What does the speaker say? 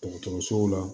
Dɔgɔtɔrɔsow la